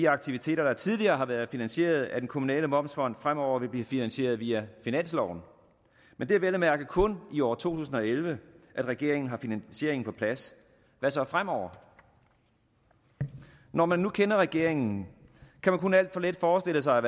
aktiviteter der tidligere har været finansieret af den kommunale momsfond fremover vil blive finansieret via finansloven men det er vel at mærke kun i år to tusind og elleve regeringen har finansieringen på plads hvad så fremover når man nu kender regeringen kan man kun alt for let forestille sig